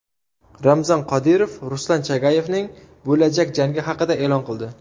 Ramzan Qodirov Ruslan Chagayevning bo‘lajak jangi haqida e’lon qildi.